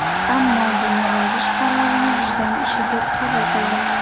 Ammo... buni yozish qarorini vijdon ishi deb qabul qildim.